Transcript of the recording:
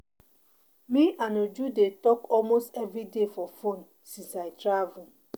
Me and Uju dey talk almost everyday for phone since I travel